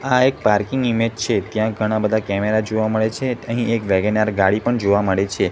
આ એક parking image છે ત્યાં ઘણા બધા કેમેરા જોવા મડે છે અહીં એક વેગન આર ગાડી પણ જોવા મડે છે.